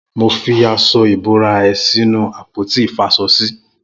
Mó fi aṣọ ibórá ẹ̀ sinú àpóti ifáṣọsi